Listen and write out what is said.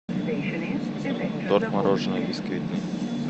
торт мороженое бисквитный